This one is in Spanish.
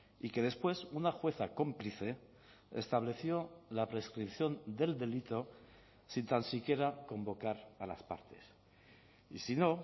y que después una jueza cómplice estableció la prescripción del delito sin tan siquiera convocar a las partes y si no